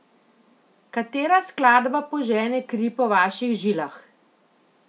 Katera skladba požene kri po vaših žilah?